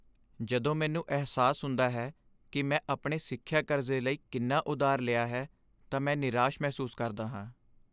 ਜਦੋਂ ਮੈਨੂੰ ਅਹਿਸਾਸ ਹੁੰਦਾ ਹੈ ਕਿ ਮੈਂ ਆਪਣੇ ਸਿੱਖਿਆ ਕਰਜ਼ੇ ਲਈ ਕਿੰਨਾ ਉਧਾਰ ਲਿਆ ਹੈ ਤਾਂ ਮੈਂ ਨਿਰਾਸ਼ ਮਹਿਸੂਸ ਕਰਦਾ ਹਾਂ।